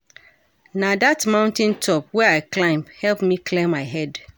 Na dat mountain top wey I climb help me clear my head.